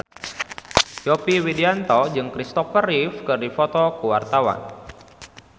Yovie Widianto jeung Christopher Reeve keur dipoto ku wartawan